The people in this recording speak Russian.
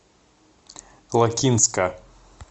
лакинска